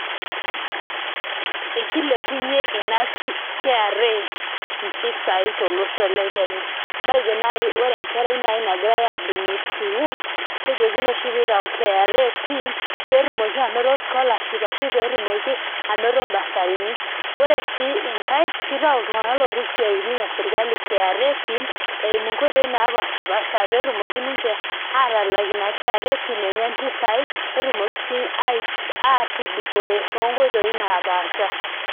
Ekilepunye ina kra impisai tolosho le Kenya. Matejo nai ore enkerai nai nagirai admit sukuul, kejokini oshi pitayu kra pin, petumoki anoto scholarship ashu petumoki anoto basarini. Ore si inkae, kitau iltung'anak lotii isiaitin esirkali kra pin, eimu nkoitoi napashipasha petumoki ninche atalak ina kra pin enye mpisai, netumoki si atudupore tonkoitoi napaasha.